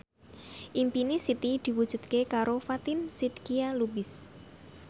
impine Siti diwujudke karo Fatin Shidqia Lubis